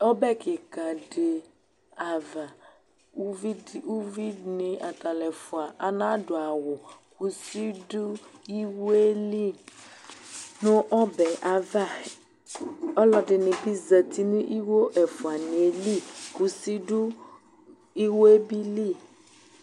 ɔbɛ kikadi ava uvidi uvinii atalũ ɛfua anadu awu kuşi du ɩwé li nu ɔbɛava ɔlɔdini bi zati ni iwo ɛfuaniɛ li kuṣi du iwébili